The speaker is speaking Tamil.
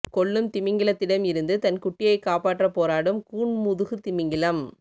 கொல்லும் திமிங்கலத்திடம் இருந்து தன் குட்டியை காப்பாற்ற போராடும் கூன்முதுகு திமிங்கலம்